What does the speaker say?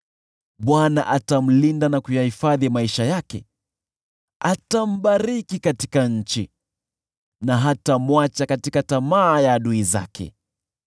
Bwana atamlinda na kuyahifadhi maisha yake, atambariki katika nchi na hatamwacha katika tamaa ya adui zake.